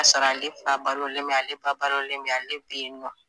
K'a sɔrɔ ale fa balolen bɛ ale ba balolen bɛ ale bɛyinɔ.